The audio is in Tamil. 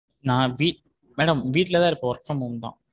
நா வீ madam வீட்டுல தான் இருப்பேன் work from home.